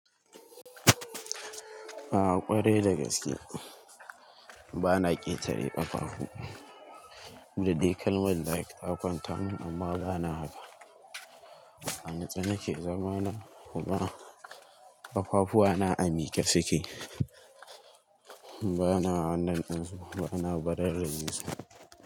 Ah ƙware da gaske. Bana ƙetare ƙafafu. Da dai kalmar like takwanta mun amma bana haka. A natse nake zama na, kuma ƙafafu na a miƙe suke. Bana wannan ɗin su, bana barar rajesu su.